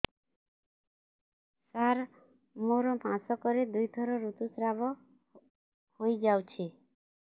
ସାର ମୋର ମାସକରେ ଦୁଇଥର ଋତୁସ୍ରାବ ହୋଇଯାଉଛି